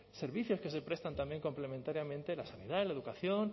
servicios que se prestan también complementariamente en la sanidad en la educación